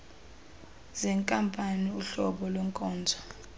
zenkampani uhlobo lwenkonzo